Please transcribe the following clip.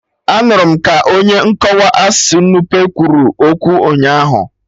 Anụrụ m ka onye nkọwa asụsụ Nupe kwuru okwu ụnyaahụ